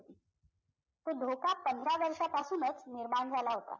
तो धोका पंधरा वर्षांपासूनच निर्माण झाला होता